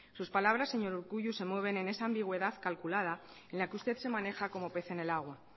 sus palabras señor urkullu se mueven en esa ambigüedad calculada en la que usted se maneja como pez en el agua